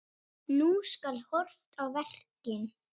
Nú skal horft á verkin.